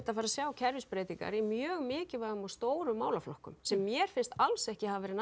að fara að sjá kerfisbreytingar í mjög mikilvægum og stórum málaflokkum sem mér finnst alls ekki hafa verið